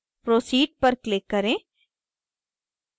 proceed पर click करें